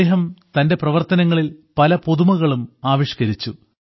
അദ്ദേഹം തന്റെ പ്രവർത്തനങ്ങളിൽ പല പുതുമകളും ആവിഷ്ക്കരിച്ചു